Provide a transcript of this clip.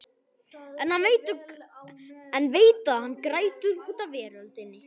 En veit að hann grætur út af veröldinni.